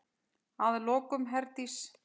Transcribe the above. Og að lokum, Herdís.